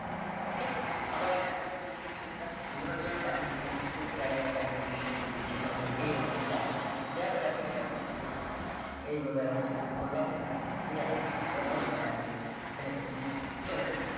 okey আবার এটা যাতে মুছেয়ে ফেলতে চান উদাহরণস্বরূপ আমি এখানে full paragraph টা আমি একটা setting দিচ্ছি ধরেন এরকম দিলাম দেয়ার পরে এখন এটা আপনি উঠিয়ে ফেলতে চাচ্ছেন এইভাবে আবার select করলাম এখান থেকে গিয়ে arrow তে click করে logo colour দিয়ে দিবেন এটা কিন্তু চলে গেল